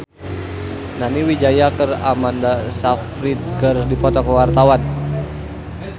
Nani Wijaya jeung Amanda Sayfried keur dipoto ku wartawan